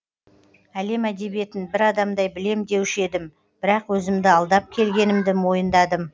әлем әдебиетін бір адамдай білем деуші едім бірақ өзімді алдап келгенімді мойындадым